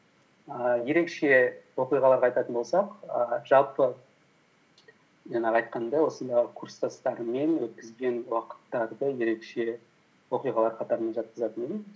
ііі ерекше оқиғаларды айтатын болсақ ііі жалпы жаңағы айтқандай осындай курстастарыммен өткізген уақыттарды ерекше оқиғаларға да мен жатқызатын едім